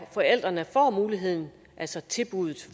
forældrene får muligheden altså tilbuddet